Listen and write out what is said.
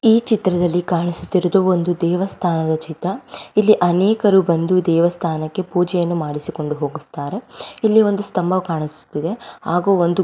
ಈ ಚಿತ್ರದಲ್ಲಿ ಕಾಣಿಸುತ್ತಿರುವುದು ಒಂದು ದೇವಸ್ಥಾನ ಚಿತ್ರ ಇಲ್ಲಿ ಅನೇಕರು ಬಂದು ದೇವಸ್ಥಾನಕ್ಕೆ ಪೂಜೆಯನ್ನು ಮಾಡಿಸಿಕೊಂಡು ಹೋಗತ್ತಾರೆ ಇಲ್ಲಿ ಒಂದು ಸ್ತಬ ಕಾಣಿಸುತ್ತಿದೆ ಹಾಗೂ ಒಂದು--